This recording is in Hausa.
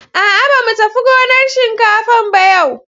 A'a, ba mu tafi gonar shinkafan ba yau.